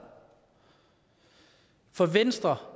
for venstre